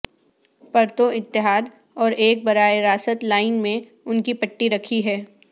پرتوں اتحاد اور ایک براہ راست لائن میں ان کی پٹی رکھی ہیں